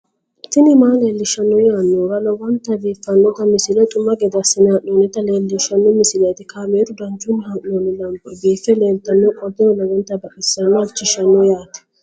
tini maa leelishshanno yaannohura lowonta biiffanota misile xuma gede assine haa'noonnita leellishshanno misileeti kaameru danchunni haa'noonni lamboe biiffe leeeltannoqolten lowonta baxissannoe halchishshanno yaate